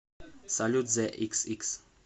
салют зэ иксикс